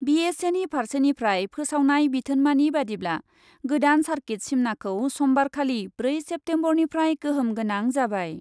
बिएसएनि फार्सेनिफ्राय फोसावनाय बिथोनमानि बादिब्ला, गोदान सार्किट सिमनाखौ समबारखालि ब्रै सेप्तेमबरनिफ्राय गोहोम गोनां जाबाय।